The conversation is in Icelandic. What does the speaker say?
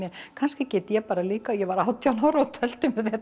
kannski get ég bara líka ég var átján ára og tölti